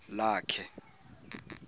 lakhe